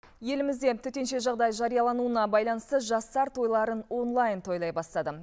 елімізде төтенше жағдай жариялануына байланысты жастар тойларын онлайн тойлай бастады